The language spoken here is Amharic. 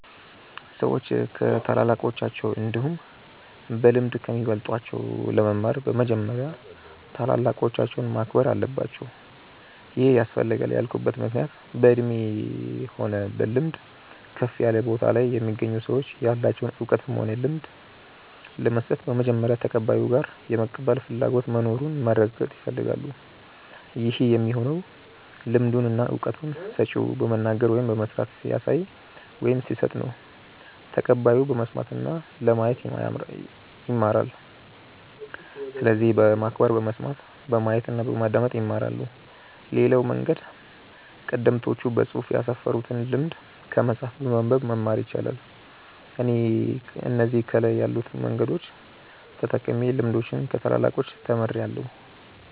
ሰዎች ከታላላቆቻቸው እንዲሁም በልምድ ከሚበልጧቸው ለመማር በመጀመሪያ ታላላቆቻቸውን ማክበር አለባቸው ይሄ ያስፈልጋል ያልኩበት ምክንያት በእድሜ ሆነ በልምድ ከፍ ያለ ቦታ ላይ የሚገኙ ሰዎች ያላቸውን እውቀትም ሆነ ልምድ ለመስጠት በመጀመሪያ ተቀባዩ ጋር የመቀበል ፍላጎቱ መኑሩን ማረጋገጥ ይፈልጋሉ ይህ የሚሆነው ልምዱን እና እውቀቱን ሰጪው በመናገር ወይም በመስራት ሲያሳይ ወይም ሲሰጥ ነው ተቀባዩ በመስማት እና ለማየት ይማራል። ስለዚህ በማክበር በመስማት፣ በማየት እና በማዳመጥ ይማራሉ። ሌላው መንገድ ቀደምቶች በፅሁፍ ያስፈሩትን ልምድ ከመጽሐፍ በማንበብ መማር ይቻላል። እኔ እነዚህ ከላይ ያሉትን መንገዶች ተጠቅሜ ልምዶችን ከታላላቆቻች ተምርያለው።